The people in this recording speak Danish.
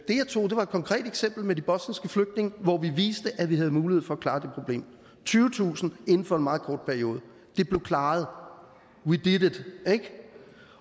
det jeg tog var et konkret eksempel med de bosniske flygtninge hvor vi viste at vi havde mulighed for at klare det problem tyvetusind inden for en meget kort periode blev klaret we did it